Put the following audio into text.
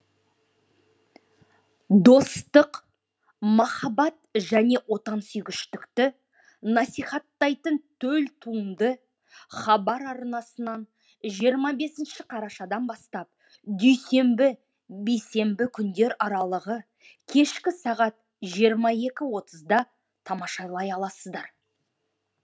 достық махаббат және отансүйгіштікті насихаттайтын төл туынды хабар арнасынан жиырма бес қарашадан бастап дүйсенбі бейсенбі күндер арылығы кешкі сағат жиырма екі отызда тамашалай аласыздар